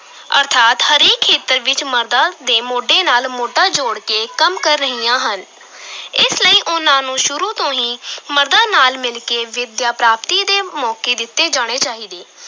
ਅਰਥਾਤ ਹਰੇਕ ਖੇਤਰ ਵਿਚ ਮਰਦਾਂ ਦੇ ਮੋਢੇ ਨਾਲ ਮੋਢਾ ਜੋੜ ਕੇ ਕੰਮ ਕਰ ਰਹੀਆਂ ਹਨ ਇਸ ਲਈ ਉਨ੍ਹਾਂ ਨੂੰ ਸ਼ੁਰੂ ਤੋਂ ਹੀ ਮਰਦਾਂ ਨਾਲ ਮਿਲ ਕੇ ਵਿੱਦਿਆ-ਪ੍ਰਾਪਤੀ ਦੇ ਮੌਕੇ ਦਿੱਤੇ ਜਾਣੇ ਚਾਹੀਦੇ।